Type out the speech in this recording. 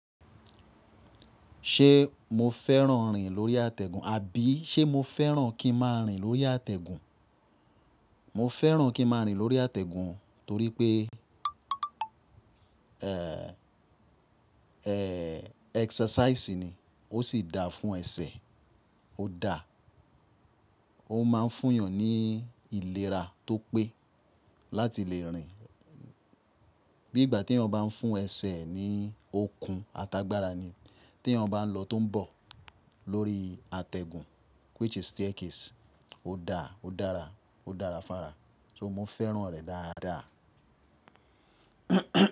Ṣé mo fẹ́ràn rìn lórí àtẹ̀gùn, àbí ṣé mo fẹ́ràn kí máa rìn lórí àtẹ̀gùn? Mo fẹ́ràn kí máa rìn lórí àtẹ̀gùn torí pé exercise ni. Ó sì da fún ẹsẹ̀, ó da. Ó máa ń fún èèyàn ní ìlera tó pé láti lè rìn. Bí ìgbà tí èèyàn ń bá fún ẹsẹ̀ ni okun atagbára ni. Tí èèyàn ń bá lọ tó ń bọ̀ lórí àtẹ̀gùn, which is staircase, ó da, ó dára, ó dára fára. So mo fẹ́ràn rẹ̀ dáadáa.